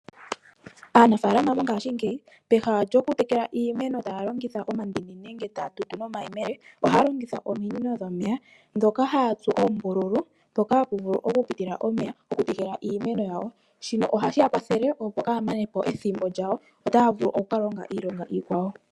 Aanafalama mongashi ngeyi peha lyokutekula iimeno talongitha omandini nenge ta ya tutu nomayemele oha longitha ominino dhomeya dhoka haya tsu oombululu poka hapuvulu oku pitila omeya okuteka iimeno yawo, shino oha shiyakwathele opo kayamanepo ethimbo lyawo , ota ya oku kalonga iilonga ikwawo.